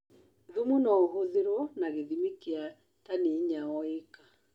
Thumu noũhũthĩrwona gĩthimi kia tani intya o ĩka.